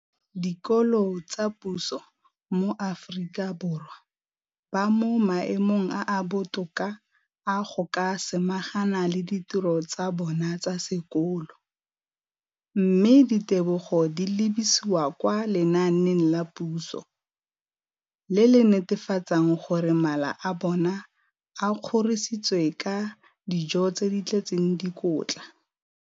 dikolo tsa puso mo Aforika Borwa ba mo maemong a a botoka a go ka samagana le ditiro tsa bona tsa sekolo, mme ditebogo di lebisiwa kwa lenaaneng la puso le le netefatsang gore mala a bona a kgorisitswe ka dijo tse di tletseng dikotla.